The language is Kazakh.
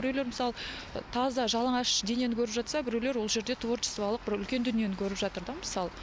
біреулер мысалы таза жалаңаш денені көріп жатса біреулер ол жерде творчествалық бір үлкен дүниені көріп жатыр да мысалы